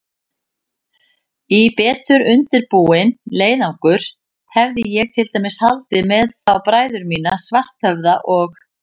Í betur undirbúinn leiðangur hefði ég til dæmis haldið með þá bræður mína, Svarthöfða og